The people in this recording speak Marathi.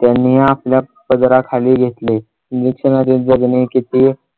त्यांनी आपल्या पदराखाली घेतले. निरीक्षणात येते जगण्याचे ते